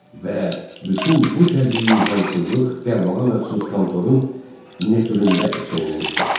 və bütün bu təbii nizamsızlıq dəllala məxsus kontorun miniatüründə əks olunmuşdu.